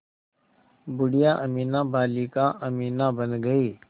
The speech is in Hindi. बूढ़िया अमीना बालिका अमीना बन गईं